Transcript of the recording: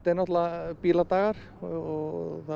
náttúrulega Bíladagar og það